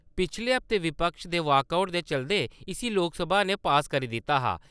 पिछले हफ्ते विपक्ष दे वाकआउट दे चलदे इसी लोकसभा ने पास करी दित्ता हा।